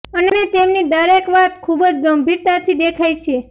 અને તેમની દરેક વાત ખૂબ જ ગંભીર તાથી દેખાઈ છે